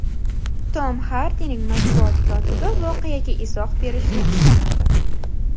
Tom Xardining matbuot kotibi voqeaga izoh berishni istamadi.